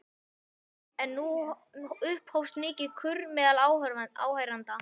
En nú upphófst mikill kurr meðal áheyrenda.